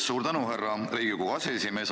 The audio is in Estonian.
Suur tänu, härra Riigikogu aseesimees!